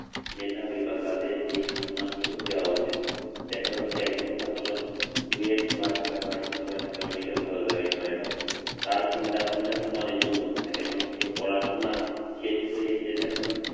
মেধাবী বা যাদের যেই সম্মানটুকু দেওয়া উচিত দেখা যাচ্ছে একজন ছাত্র জি এ টবা ঢাকাভার্সিটি বা ঢাকা মেডিকেল ভালো জায়গায় পড়ে এখন তার চিন্তা ভাবনা কিন্তু অনেক উন্নত থাকে এবং সে পড়াশোনা শেষ করেই সে এমন